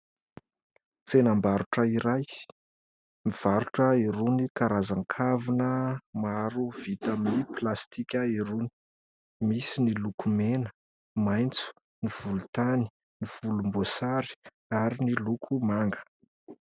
Tsena-barotra iray mivarotra ireo karazan-kavina maro vita avy amin'ny "plastique" ireo, misy ny loko: mena, maintso, ny volotany, ny volombosary ary ny loko manga.